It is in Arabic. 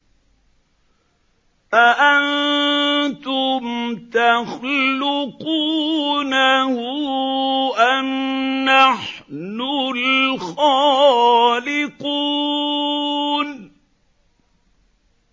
أَأَنتُمْ تَخْلُقُونَهُ أَمْ نَحْنُ الْخَالِقُونَ